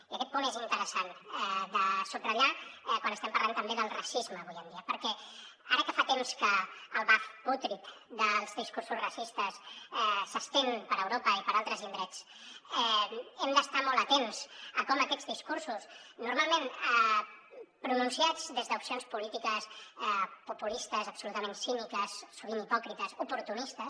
i aquest punt és interessant de subratllar quan estem parlant també del racisme avui en dia perquè ara que fa temps que el baf pútrid dels discursos racistes s’estén per europa i per altres indrets hem d’estar molt atents a com aquests discursos normalment pronunciats des d’opcions polítiques populistes absolutament cíniques sovint hipòcrites oportunistes